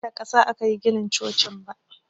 Ban san cewa da ƙasa akayi ginin cocin ba